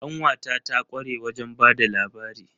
Ƙanwata ta kware wajen ba da labari.